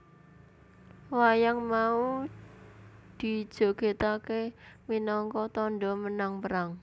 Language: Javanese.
Wayang mau dijogetakke minangka tandha menang perang